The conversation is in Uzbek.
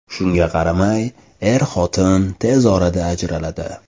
Shunga qaramay, er-xotin tez orada ajraladi.